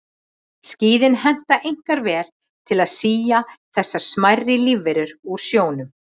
Skíðin henta einkar vel til að sía þessar smærri lífverur úr sjónum.